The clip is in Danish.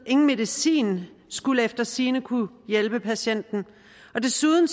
ingen medicin skulle efter sigende kunne hjælpe patienten og desuden